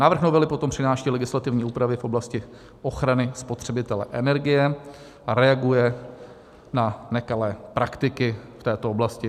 Návrh novely potom přináší legislativní úpravy v oblasti ochrany spotřebitele energie a reaguje na nekalé praktiky v této oblasti.